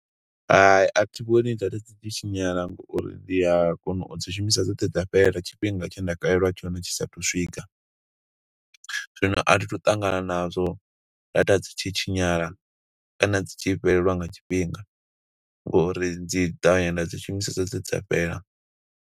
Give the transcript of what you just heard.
Hai, athi vhoni data dzi tshi tshinyala ngo uri ndi a kona u dzi shumisa dzoṱhe dza fhela, tshifhinga tshe nda kaleliwa tshone tshi sa athu u swika. Zwino athi thu ṱangana nazwo, data dzi tshi tshinyala, kana dzi tshi fheleliwa nga tshifhinga, ngouri dzi ṱavhanya nda dzi shumisesa dzoṱhe dza fhela.